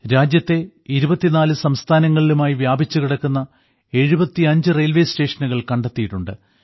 രാജ്യത്തിലെ ഇരുപത്തിനാല് സംസ്ഥാനങ്ങളിലുമായി വ്യാപിച്ചു കിടക്കുന്ന 75 റെയിൽവേ സ്റ്റേഷനുകൾ കണ്ടെത്തിയിട്ടുണ്ട്